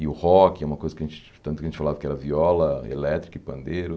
E o rock é uma coisa que a gente... Tanto que a gente falava que era viola, elétrica e pandeiro.